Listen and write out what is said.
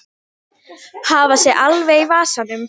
Hafa sig alveg í vasanum.